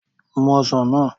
Mu ọsàn náà